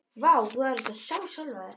Vá, þú hefðir átt að sjá sjálfan þig.